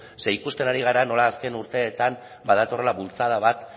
zeren eta ikusten ari gara nola azken urteetan badatorrela bultzada bat